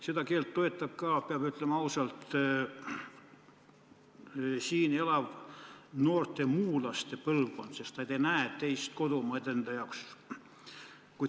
Seda keelt toetab ka, peab ütlema ausalt, siin elav noorte muulaste põlvkond, sest nad ei näe teist kodumaad enda jaoks.